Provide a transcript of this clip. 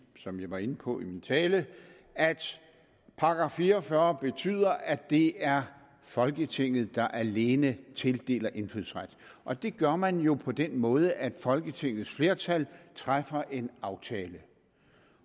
som jeg var inde på i min tale at § fire og fyrre betyder at det er folketinget der alene tildeler indfødsret og det gør man jo på den måde at folketingets flertal træffer en aftale